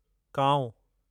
कांउ